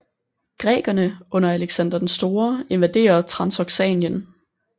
Grækerne under Alexander den Store invaderer Transoxanien